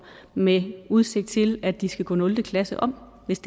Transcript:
den med udsigt til at de skal gå nul klasse om hvis